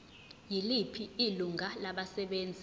yiliphi ilungu labasebenzi